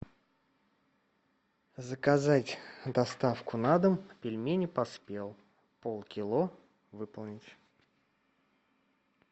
заказать доставку на дом пельмени поспел полкило выполнить